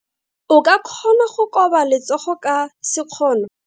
O ka kgona go koba letsogo ka sekgono.